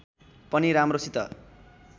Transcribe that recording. पनि राम्रोसित